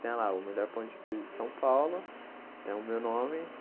Tem lá o melhor pão de queijo de São Paulo, tem o meu nome.